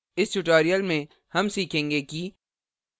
इस tutorial में हम सीखेंगे कि